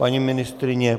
Paní ministryně?